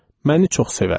Məni çox sevərdi.